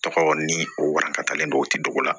Tɔgɔ ni o warakatalen don o ti dugu la